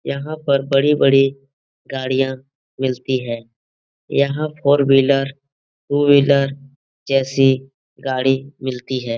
यहाँ पर बड़ी-बड़ी गाड़ियाँ मिलती हैं यहाँ फोर व्हीलर टू व्हीलर जैसी गाड़ी मिलती हैं ।